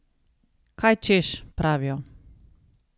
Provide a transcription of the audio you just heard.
Kaj češ, pravijo.